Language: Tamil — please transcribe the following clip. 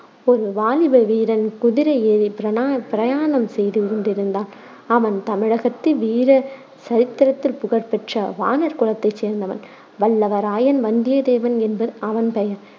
ஒரு வாலிப வீரன் குதிரை ஏறிப் பிரணா~ பிரயாணம் செய்து கொண்டிருந்தான். அவன் தமிழகத்து வீர சரித்திரத்தில் புகழ்பெற்ற வாணர் குலத்தைச் சேர்ந்தவன். வல்லவரையன் வந்தியத்தேவன் என்பது அவன் பெயர்.